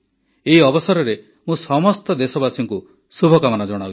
ଏହି ଅବସରରେ ମୁଁ ସମସ୍ତ ଦେଶବାସୀଙ୍କୁ ଶୁଭକାମନା ଜଣାଉଛି